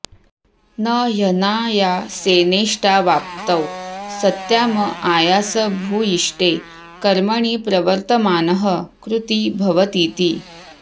न ह्यनायासेनेष्टावाप्तौ सत्याम् आयासभूयिष्ठे कर्मणि प्रवर्तमानः कृती भवतीति